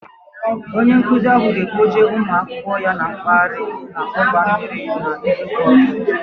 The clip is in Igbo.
Onye nkụzi ahụ ga kpọje ụmụ akwụkwọ ya mkpaghari n'ọgba mmiri n'izuka ọzọ